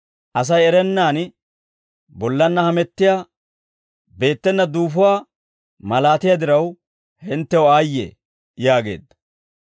«Asay erennaan bollanna hamettiyaa beettena duufuwaa malatiyaa diraw hinttew aayye!» yaageedda.